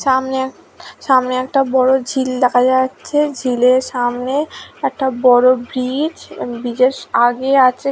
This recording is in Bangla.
সামনে এক সামনে একটা বড়ো ঝিল দেখা যাচ্ছে ঝিলের সামনে একটা বড়ো ব্রিজ ও ব্রিজ -এর আগে আছে--